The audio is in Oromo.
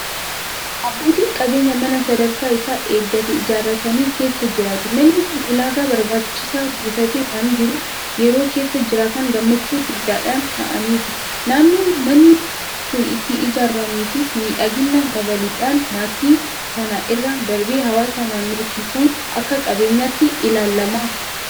Abbootiin qabeenyaa mana sadarkaa isaa eeggate ijaarratanii keessa jiraatu. Manni kun ulaagaa barbaachisu guuttatee waan jiruuf yeroo keessa jiraatan gammachuu guddaadhaan ta'aniitu. Naannoo manni sun itti ijaarameefis miidhagina dabaluudhaan maatii sana irra darbee hawaasa naannootiifuu akka qabeenyaatti ilaalama.